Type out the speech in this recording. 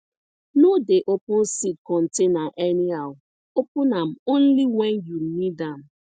no dey open seed container anyhow open am only when you need am